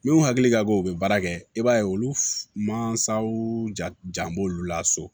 Minnu hakili ka bon u bɛ baara kɛ i b'a ye olu mansaw jan b'olu la so